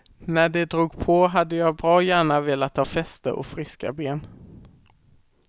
När de drog på hade jag bra gärna velat ha fäste och friska ben.